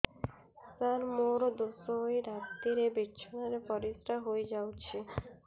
ସାର ମୋର ଦୋଷ ହୋଇ ରାତିରେ ବିଛଣାରେ ପରିସ୍ରା ହୋଇ ଯାଉଛି